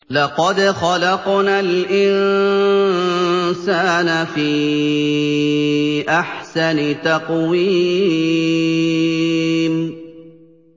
لَقَدْ خَلَقْنَا الْإِنسَانَ فِي أَحْسَنِ تَقْوِيمٍ